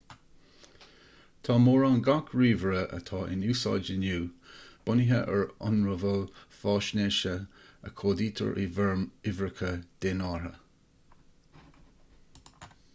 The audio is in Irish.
tá mórán gach ríomhaire atá in úsáid inniu bunaithe ar ionramháil faisnéise a chódaítear i bhfoirm uimhreacha dénártha